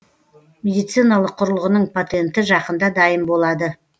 медициналық құрылғының патенті жақында дайын болады